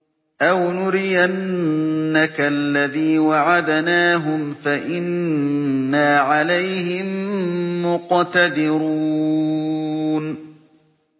أَوْ نُرِيَنَّكَ الَّذِي وَعَدْنَاهُمْ فَإِنَّا عَلَيْهِم مُّقْتَدِرُونَ